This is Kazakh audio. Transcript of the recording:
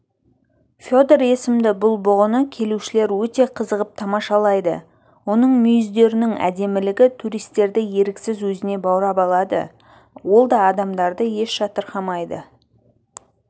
федор есімді бұл бұғыны келушілер өте қызығып тамашалайды оның мүйіздерінің әдемілігі туристерді еріксіз өзіне баурап алады ол да адамдарды еш жатырқамайды